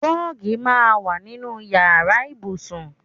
Rọ́ọ́gì máa ń wà nínú ìyára ibùsùn.